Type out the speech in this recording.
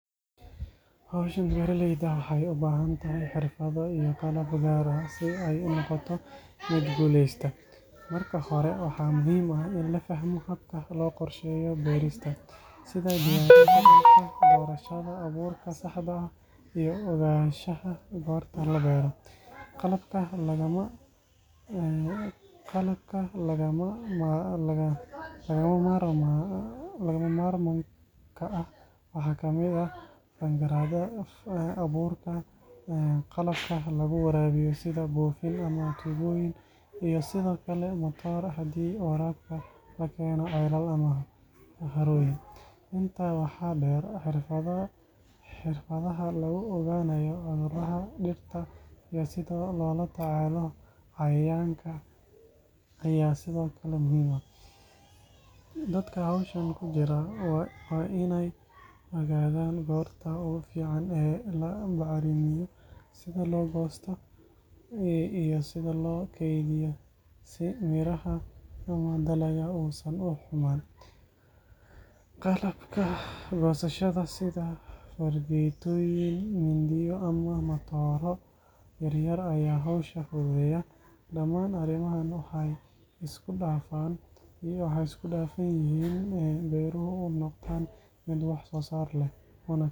Hawshan beeralayda waxay u baahan tahay xirfado iyo qalab gaar ah si ay u noqoto mid guuleysata. Marka hore, waxaa muhiim ah in la fahmo habka loo qorsheeyo beerista, sida diyaarinta dhulka, doorashada abuurka saxda ah, iyo ogaanshaha goorta la beero. Qalabka lagama maarmaanka ah waxaa ka mid ah fangarada, abuurka, qalabka lagu waraabiyo sida buufin ama tuubooyin, iyo sidoo kale matoor haddii waraabka la keeno ceelal ama harooyin. Intaa waxaa dheer, xirfadaha lagu ogaanayo cudurrada dhirta iyo sida loola tacaalo cayayaanka ayaa sidoo kale muhiim ah. Dadka hawshan ku jira waa inay ogaadaan goorta ugu fiican ee la bacrimiyo, sida loo goosto, iyo sida loo kaydiyo si miraha ama dalagga uusan u xumaan. Qalabka goosashada sida fargeetooyin, mindiyo ama matooro yar yar ayaa hawsha fududeeya. Dhamaan arrimahan waxay isku dhafan yihiin si beeruhu u noqdaan mid wax soo saar leh, una keenaan.